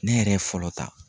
Ne yɛrɛ ye fɔlɔ ta.